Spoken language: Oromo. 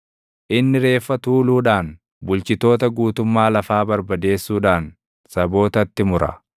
Inni reeffa tuuluudhaan, bulchitoota guutummaa lafaa barbadeessuudhaan sabootatti mura.